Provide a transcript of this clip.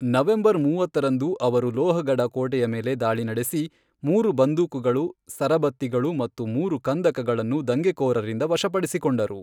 November ಮೂವತ್ತರಂದು ಅವರು ಲೋಹಗಢ ಕೋಟೆಯ ಮೇಲೆ ದಾಳಿ ನಡೆಸಿ, ಮೂರು ಬಂದೂಕುಗಳು, ಸರಬತ್ತಿಗಳು ಮತ್ತು ಮೂರು ಕಂದಕಗಳನ್ನು ದಂಗೆಕೋರರಿಂದ ವಶಪಡಿಸಿಕೊಂಡರು.